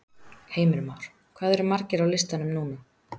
Heimir Már: Hvað eru margir á listanum núna?